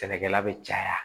Sɛnɛkɛla bɛ caya